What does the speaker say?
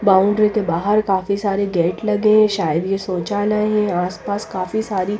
boundary के बाहर काफी सारे गेट लगे हैं शायद ये शौचालय हैं आसपास काफी सारी--